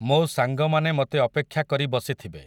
ମୋ ସାଙ୍ଗମାନେ ମତେ ଅପେକ୍ଷା କରି ବସିଥିବେ ।